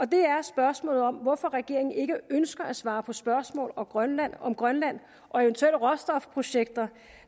det er spørgsmålet om hvorfor regeringen ikke ønsker at svare på spørgsmål om grønland om grønland og eventuelle råstofprojekter